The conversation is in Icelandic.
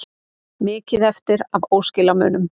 Mikið eftir af óskilamunum